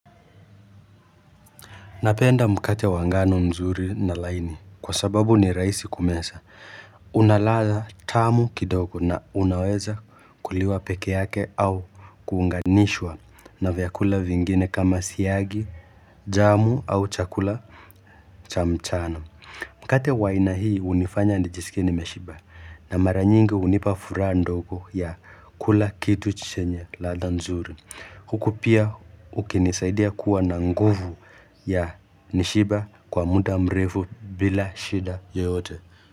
Napenda mkate wa ngano mzuri na laini, kwa sababu ni rahisi kumeza. Huna ladha tamu kidogo na unaweza kuliwa peke yake au kuunganishwa na vyakula vingine kama siyagi, jamu au chakula cha mchana. Mkate wa aina hii unifanya nijisikie nimeshiba na maranyingi unipa furaha ndogo ya kula kitu chenye ladha nzuri. Huku pia ukinisaidia kuwa na nguvu ya kushiba kwa muda mrefu bila shida yoyote.